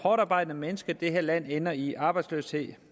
hårdtarbejdende mennesker i det her land ender i arbejdsløshed